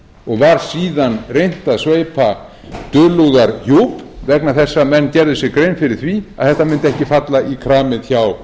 og var síðan reynt að sveipa dulúðarhjúp vegna þess að menn gerðu sér grein fyrir því að þetta mundi ekki falla í kramið hjá